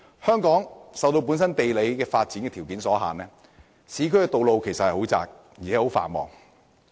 香港受本身的地理發展條件所限，市區道路十分狹窄，而且非常繁忙。